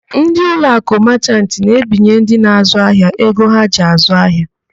Ndị Uloakụ Machant na-ebinye ndị na-àzụ́ ahịa ego ha ji àzụ́ ahịa.